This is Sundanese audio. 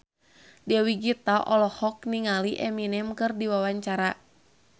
Dewi Gita olohok ningali Eminem keur diwawancara